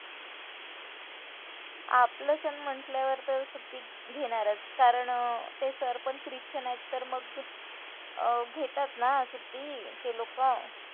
आपलं sir म्हंटल्यावर तर सुट्टी घेणारच कारण ते sir पण ख्रिश्चन आहेत तर मग अं घेतात ना सुट्टी ते लोकं.